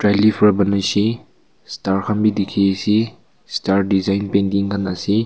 elifer banai se star khan bhi dikhi ase star design painting khan ase.